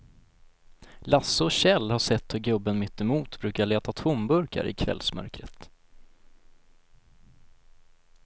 Lasse och Kjell har sett hur gubben mittemot brukar leta tomburkar i kvällsmörkret.